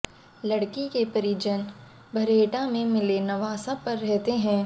लड़की के परिजन भरेहटा में मिले नवासा पर रहते हैं